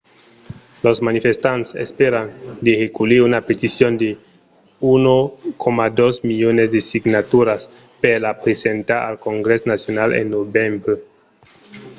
los manifestants espèran de reculhir una peticion de 1,2 milions de signaturas per la presentar al congrès nacional en novembre